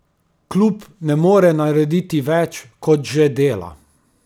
Klub ne more narediti več, kot že dela.